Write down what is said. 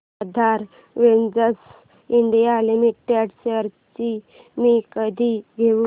आधार ventures India limited shares मी कधी घेऊ